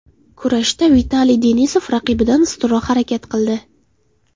Kurashda Vitaliy Denisov raqibidan ustunroq harakat qildi.